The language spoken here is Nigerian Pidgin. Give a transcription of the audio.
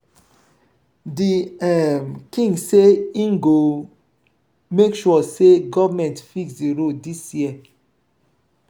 di um king sey im go make sure sey government fix di road dis year.